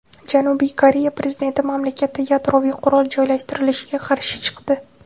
Janubiy Koreya prezidenti mamlakatda yadroviy qurol joylashtirilishiga qarshi chiqdi.